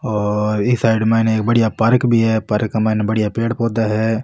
और इस साइड में बढ़िया पार्क भी है पार्क के माइन बढ़िया पेड़ पौधा है।